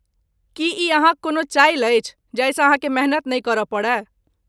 की ई अहाँक कोनो चालि अछि जाहिसँ अहाँकेँ मेहनत नहि करय पड़य?